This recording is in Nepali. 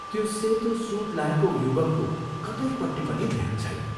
त्यो सेतो सूट लाएको युवकको कतैपट्टि पनि ध्यान छैन।